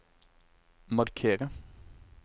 markere